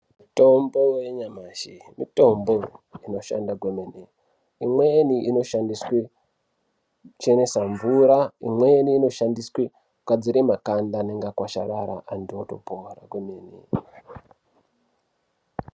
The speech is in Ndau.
Mitombo yanyamashi mitombo inoshanda kwemene imweni inoshandiswe kuchenese mvura imweni inoshandiswa kugadzira makanda anenge agwasharara antu itopona kwemene.